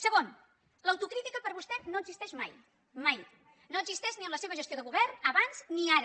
segon l’autocrítica per vostè no existeix mai mai no existeix ni en la seva gestió de govern abans ni ara